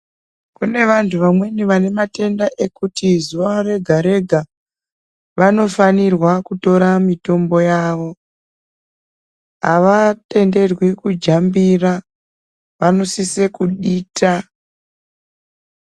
Kune vantu vamwen vanematenda ekuti zuva rega rega vanofanirwa kutora. mitombo yavo avatenderwi kujambira vanosise kudita.